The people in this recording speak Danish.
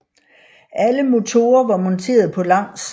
Alle motorer var monteret på langs